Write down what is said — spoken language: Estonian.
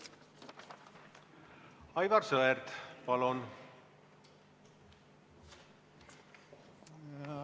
Aivar Sõerd, palun!